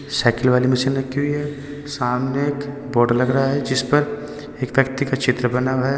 Cycle वाली मशीन रखी हुई है सामने एक बोर्ड लग रहा है जिस पर एक व्यक्ति का चित्र बना है।